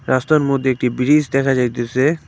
রাস্তার মধ্যে একটি ব্রিজ দেখা যাইতেছে।